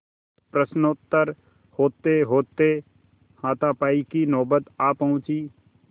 प्रश्नोत्तर होतेहोते हाथापाई की नौबत आ पहुँची